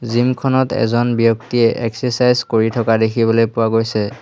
Gym খনত এজন ব্যক্তিয়ে এক্সেচাইজ কৰি থকা দেখিবলৈ পোৱা গৈছে।